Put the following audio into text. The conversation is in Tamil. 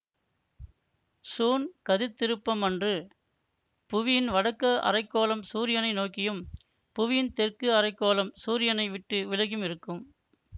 சூன் கதிர்த்திருப்பம் அன்று புவியின் வடக்கு அரைக்கோளம் சூரியனை நோக்கியும் புவியின் தெற்கு அரைக்கோளம் சூரியனை விட்டு விலகியும் இருக்கும்